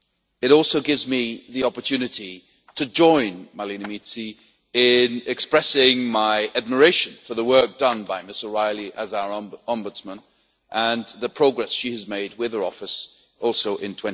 It also gives me the opportunity to join Marlene Mizzi in expressing my admiration for the work done by Ms O'Reilly as our ombudsman and the progress she has made with her office in